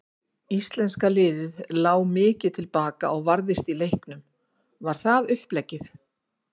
Íslenska liðið lá mikið til baka og varðist í leiknum, var það uppleggið?